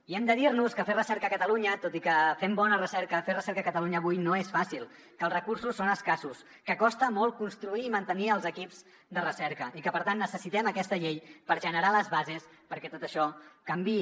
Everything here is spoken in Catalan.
i hem de dir nos que fer recerca a catalunya tot i que fem bona recerca fer recerca a catalunya avui no és fàcil que els recursos són escassos que costa molt construir i mantenir els equips de recerca i que per tant necessitem aquesta llei per generar les bases perquè tot això canviï